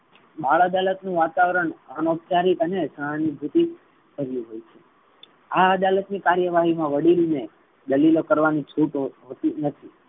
બાળ અદાલત નુ વાતાવરણ અનોઉપચારિક અને સહાનુભુતિ હોઈ છે. આ અદાલત ની કરેવાહી મા વડીલ ને દલીલો કરવાની છૂટ હોતી નથી.